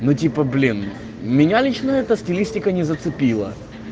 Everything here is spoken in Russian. ну типа блин меня лично эта стилистика не зацепила